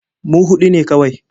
Mu huɗu ne kawai.